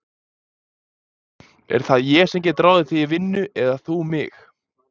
Sko, er það ég sem get ráðið þig í vinnu eða þú mig?